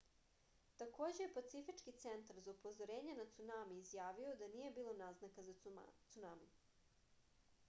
takođe je pacifički centar za upozorenje na cunami izjavio da nije bilo naznaka za cunami